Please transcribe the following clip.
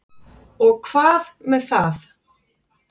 Og hvað með það?